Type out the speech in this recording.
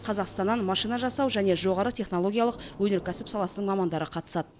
қазақстаннан машина жасау және жоғары технологиялық өнеркәсіп саласының мамандары қатысады